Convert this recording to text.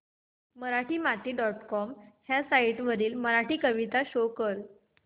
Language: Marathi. मराठीमाती डॉट कॉम ह्या साइट वरील मराठी कविता शो कर